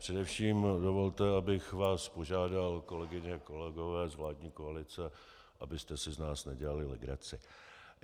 Především dovolte, abych vás požádal, kolegyně a kolegové z vládní koalice, abyste si z nás nedělali legraci.